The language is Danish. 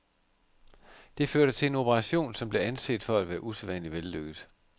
Det førte til en operation, som blev anset for at være usædvanlig vellykket.